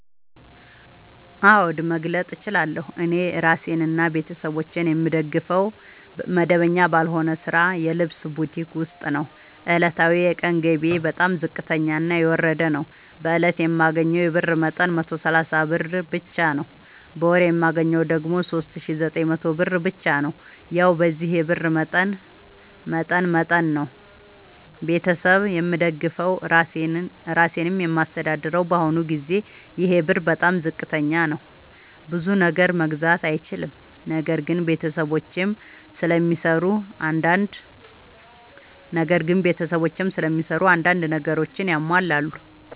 አዎድ መግለጥ እችላለሁ። እኔ እራሴንና ቤተሠቦቼን የምደግፈዉ መደበኛ ባልሆነ ስራ የልብስ ቡቲክ ዉስጥ ነዉ። ዕለታዊ የቀን ገቢየ በጣም ዝቅተኛና የወረደ ነዉ። በእለት የማገኘዉ የብር መጠን 130 ብር ብቻ ነዉ። በወር የማገኘዉ ደግሞ 3900 ብር ብቻ ነዉ። ያዉ በዚህ የብር መጠን መጠን ነዉ። ቤተሠብ የምደግፈዉ እራሴንም የማስተዳድረዉ በአሁኑ ጊዜ ይሄ ብር በጣም ዝቅተኛ ነዉ። ብዙ ነገር መግዛት አይችልም። ነገር ግን ቤተሰቦቼም ስለሚሰሩ አንዳንድ ነገሮችን ያሟላሉ።